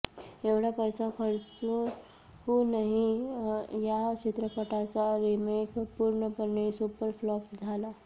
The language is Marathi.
एवढा पैसा खर्चूनही या चित्रपटाचा रिमेक पूर्णपणे सुपरफ्लॉप झाला